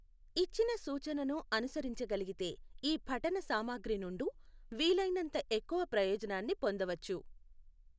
ఇచ్చిన సూచనను అనుసరించగలిగితే ఈ పఠన సామగ్రి నుండు వీలైనంత ఎక్కువ ప్రయోజనాన్ని పొందవచ్చు.